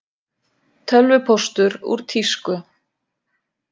Tölvupóstur úr tísku